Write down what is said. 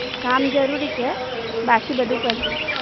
કામ જરૂરી છે. બાકી બધું પછી.